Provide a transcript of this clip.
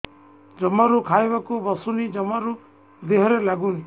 ଜମାରୁ ଖାଇବାକୁ ବସୁନି ଜମାରୁ ଦେହରେ ଲାଗୁନି